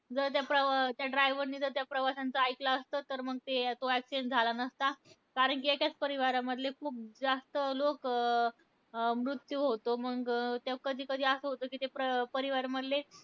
जर त्या प्रवा त्या driver ने त्या प्रवाश्यांचं ऐकलं असतं. तर मग ते तो accident झाला नसता. कारण कि एकाच परिवारामधले खूप जास्त लोकं अं मृत्यू होतो. मंग ते कधी कधी असं होतं कि ते परि अं परिवारमधले